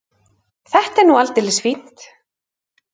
Þetta var nú aldeilis fínt.